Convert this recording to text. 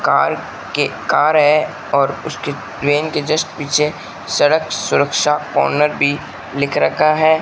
Car के car है और उसके क्रेन के जस्ट पीछे सड़क सुरक्षा ऑनर भी लिख रखा है।